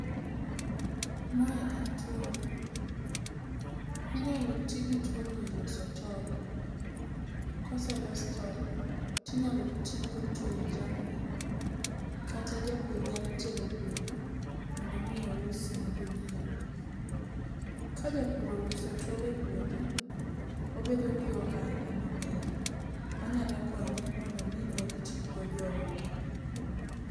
Mae en tworo. Inyalo ti gi tworo e loso tol, koselos tol tinyalo tigo tweyo jamni kata japur nyalo tero e puodho mondo omi ousne jonyieo. Ka japur ouso tol e puodho, obedo gi ohala maber manyalo konye mondo omi oritgo joode.